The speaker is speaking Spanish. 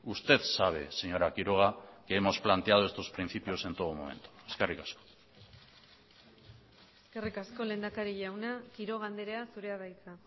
usted sabe señora quiroga que hemos planteado estos principios en todo momento eskerrik asko eskerrik asko lehendakari jauna quiroga andrea zurea da hitza